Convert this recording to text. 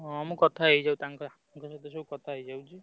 ହଁ ମୁଁ କଥା ହେଇ ଯାଉଛି ତାଙ୍କ ସହିତ ସବୁ କଥା ହେଇଯାଉଛି।